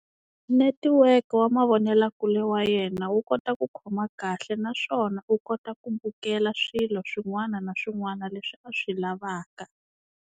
Network wa mavonelakule wa yena wu kota ku khoma kahle naswona u kota ku bukela swilo swin'wana na swin'wana leswi a swi lavaka.